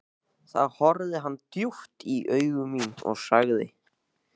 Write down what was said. Þá horfði hann djúpt í augu mín og sagði